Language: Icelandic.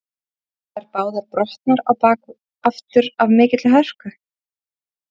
Voru þær báðar brotnar á bak aftur af mikilli hörku.